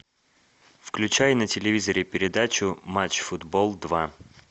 включай на телевизоре передачу матч футбол два